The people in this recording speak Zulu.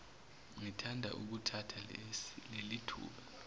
ngithanda ukuthatha lelithuba